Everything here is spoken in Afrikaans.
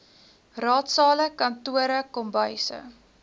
raadsale kantore kombuise